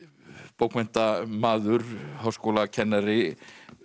bókmenntamaður háskólakennari